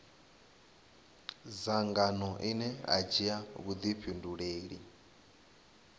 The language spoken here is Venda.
dzangano ine a dzhia vhuifhinduleli